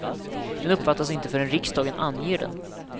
Den uppfattas inte förrän riksdagen anger den.